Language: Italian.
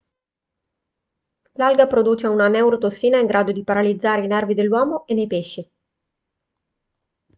l'alga produce una neurotossina in grado di paralizzare i nervi nell'uomo e nei pesci